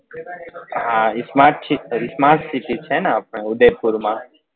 હા smart city smart city છે ને આપડે ઉદયપુર માં